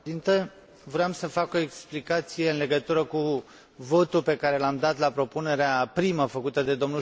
Voiam să fac o explicație în legătură cu votul pe care l am dat la propunerea primă făcută de dl Schultz